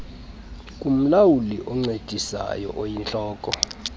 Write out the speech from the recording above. kumlawuli oncedisayo oyintloko